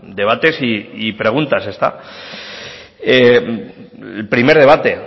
debates y preguntas primer debate